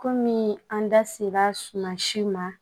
Kɔmi an da ser'a si ma